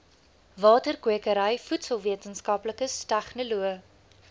waterkwekery voedselwetenskaplikes tegnoloë